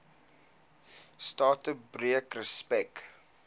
strate breek respek